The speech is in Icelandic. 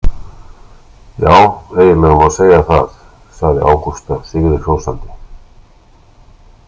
Já, eiginlega má segja það, sagði Ágústa sigrihrósandi.